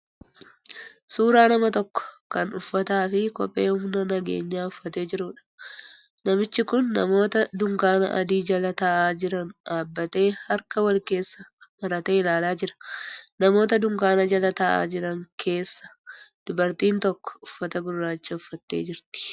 Suuraa nama tokko kan uffata fi kephee humna nageenyaa uffatee jiruudha. Namichi kun namoota dunkaana adii jala ta'aa jiran dhaabbatee harka wal keessa maratee ilaalaa jira. Namoota dunkaana jala ta'aa jiran keessa dubartiin tokko uffata gurraacha uffattee jirti.